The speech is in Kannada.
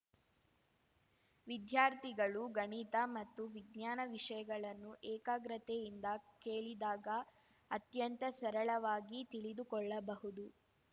ವಿದ್ಯಾರ್ಥಿಗಳು ಗಣಿತ ಮತ್ತು ವಿಜ್ಞಾನ ವಿಷಯಗಳನ್ನು ಏಕಾಗ್ರತೆಯಿಂದ ಕೇಳಿದಾಗ ಅತ್ಯಂತ ಸರಳವಾಗಿ ತಿಳಿದುಕೊಳ್ಳಬಹುದು